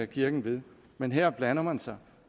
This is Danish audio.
kirken ved men her blander man sig